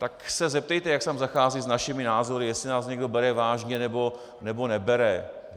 Tak se zeptejte, jak se tam zachází s našimi názory, jestli nás někdo bere vážně, nebo nebere.